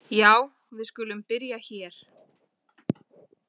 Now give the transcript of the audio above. Já, við skulum byrja hér.